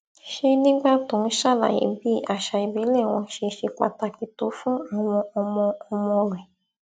ṣe nígbà tó ń ṣàlàyé bí àṣà ìbílẹ wọn ṣe ṣe pàtàkì tó fún àwọn ọmọ ọmọ rẹ